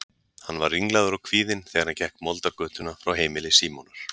Hann var ringlaður og kvíðinn þegar hann gekk moldargötuna frá heimili Símonar.